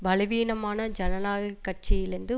பல வீனமான ஜனநாயக கட்சியிலிந்து